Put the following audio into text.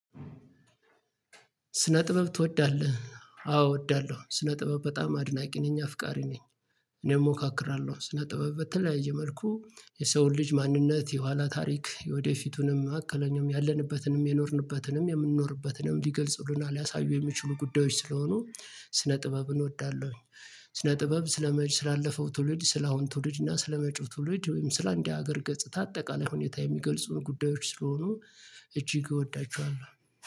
ስነ ጥበብ ትወዳለህ አዎ እወዳለሁ ስነ ጥበብ በጣም አድናቂ ነኝ አፍቃሪ ነኝ። እኔም እሞካክራለሁ ስነ ጥበብ በተለያየ መልኩ የሰውን ልጅ ማንነት የኋላ ታሪክ የወደፊቱንም መሀከለኛውንም ያለንበትንም የኖርንበትንም የምንኖርበትንም ሊገልጽሉና ሊያሳዩ የሚችሉ ጉዳዮች ስለሆኑ ስነ ጥበብን እወዳለሁኝ። ስነ ጥበብ ስለመጪ ስላለፈው ትውልድ ስላሁን ትውልድ እና ስለመጪው ትውልድ ወይም ስለ አንድ ሀገር ገጽታ አጠቃላይ ሁኔታ የሚገልጹ ጉዳዮች ስለሆኑ እጅግ እወዳቸዋለሁ